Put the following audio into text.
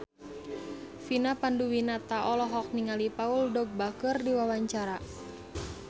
Vina Panduwinata olohok ningali Paul Dogba keur diwawancara